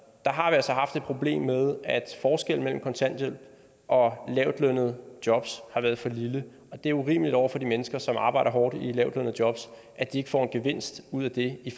altså haft et problem med at forskellen mellem kontanthjælp og lavtlønnede jobs har været for lille det er urimeligt over for de mennesker som arbejder hårdt i et lavtlønnet job at de ikke får en gevinst ud af det i